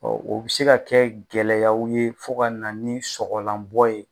o bɛ se ka kɛ gɛlɛyaw ye fo ka na ni sɔgɔlanbɔ ye.